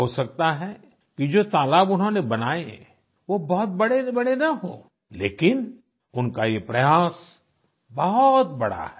हो सकता है कि ये जो तालाब उन्होंने बनाए वो बहुत बड़ेबड़े न हों लेकिन उनका ये प्रयास बहुत बड़ा है